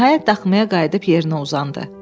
Nəhayət, daxmaya qayıdıb yerinə uzandı.